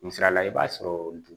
Misalila i b'a sɔrɔ